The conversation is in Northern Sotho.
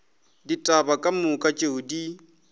ditaba ka moka tšeo di